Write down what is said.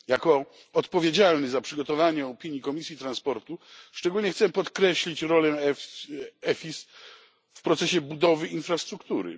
Jako odpowiedzialny za przygotowanie opinii Komisji Transportu, szczególnie chcę podkreślić rolę w EFSI w procesie budowy infrastruktury.